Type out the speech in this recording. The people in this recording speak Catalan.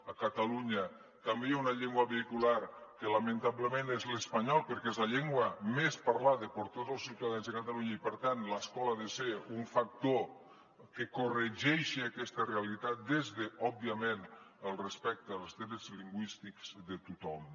a catalunya també hi ha una llengua vehicular que lamentablement és l’espanyol perquè és la llengua més parlada per tots els ciutadans de catalunya i per tant l’escola ha de ser un factor que corregeixi aquesta realitat des d’òbviament el respecte als drets lingüístics de tothom